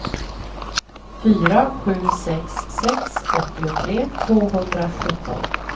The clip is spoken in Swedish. fyra sju sex sex åttiotre tvåhundrasjutton